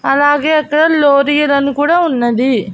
అలాగే అక్కడ లోరియర్ కుడా ఉన్నది.